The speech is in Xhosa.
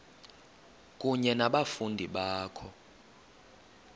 kunye nabafundi bakho